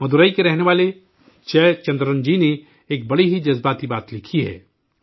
مدورئی میں رہنے والے جے چندرن جی نے ایک بڑی ہی جذباتی بات لکھی ہے